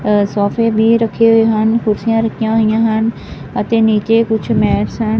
ਸੋਫੇ ਬੀ ਰੱਖੇ ਹੋਏ ਹਨ ਕੁਰਸੀਆਂ ਰੱਖਿਆ ਹੋਇਆਂ ਹਨ ਅਤੇ ਨੀਚੇ ਕੁਛ ਮੈਟਸ ਹਨ।